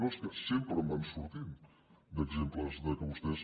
no és que sempre en van sortint d’exemples que vostès